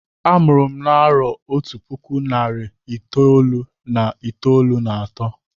Amụrụ m na-arọ Otú puku narị itolu irí itolu na atọ.